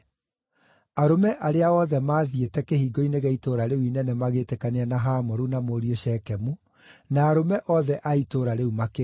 Arũme arĩa othe maathiĩte kĩhingo-inĩ gĩa itũũra rĩu inene magĩĩtĩkania na Hamoru na mũriũ Shekemu, na arũme othe a itũũra rĩu makĩrua.